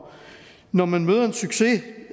når man møder en succes